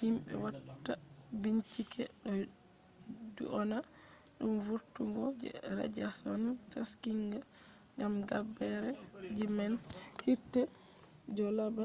himbe watta binchike do dyona dum vurtungo je radiashon taskinga” gam gabbere ji man hite je do laabi